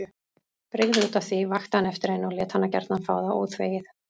Brygði útaf því, vakti hann eftir henni og lét hana gjarna fá það óþvegið.